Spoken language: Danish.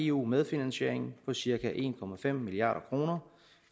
eu medfinansiering på cirka en milliard kroner